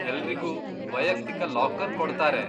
ಎಲ್ರಿಗೂ ವೈಯಕ್ತಿಕ ಲಾಕರ್ ಕೊಡ್ತಾರೆ.